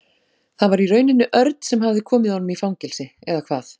Það var í rauninni Örn sem hafði komið honum í fangelsi eða hvað?